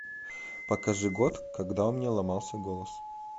покажи год когда у меня ломался голос